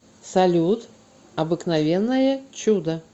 салют обыкновенное чудо